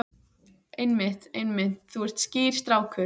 Einmitt, einmitt, þú ert skýr strákur.